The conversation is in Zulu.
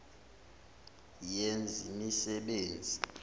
yezemisebenzi